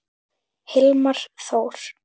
Hilmar Þór.